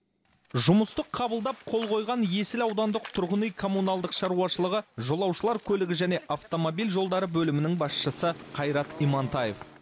жұмысты қабылдап қол қойған есіл аудандық тұрғын үй коммуналдық шаруашылығы жолаушылар көлігі және автомобиль жолдары бөлімінің басшысы қайрат имантаев